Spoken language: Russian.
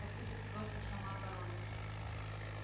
это будет просто самооборона